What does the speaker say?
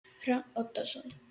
Hrafn Oddsson